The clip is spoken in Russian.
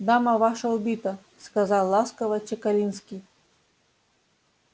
дама ваша убита сказал ласково чекалинский